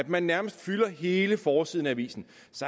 man nærmest fylder hele forsiden af avisen